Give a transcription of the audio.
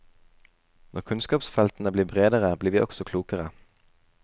Når kunnskapsfeltene blir bredere, blir vi også klokere.